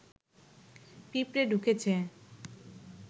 পিঁপড়ে ঢুকেছে